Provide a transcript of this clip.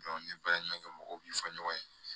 n ye baɲumankɛ mɔgɔw bi fɔ ɲɔgɔn ye